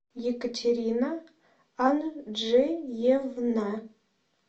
екатерина анджеевна